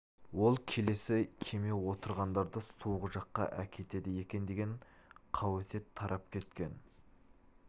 ол келесі кеме отырғандарды суық жаққа әкетеді екен деген қауесет тарап кеткен